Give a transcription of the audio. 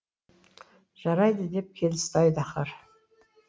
жарайды деп келісті айдаһар